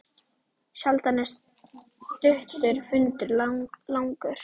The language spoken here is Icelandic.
Sjaldan er stuttur fundur langur.